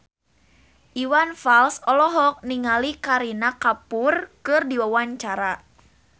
Iwan Fals olohok ningali Kareena Kapoor keur diwawancara